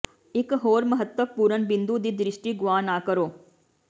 ਇਕ ਹੋਰ ਮਹੱਤਵਪੂਰਨ ਬਿੰਦੂ ਦੀ ਦ੍ਰਿਸ਼ਟੀ ਗੁਆ ਨਾ ਕਰੋ